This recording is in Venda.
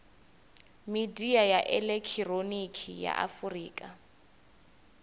midia ya elekihironiki ya afurika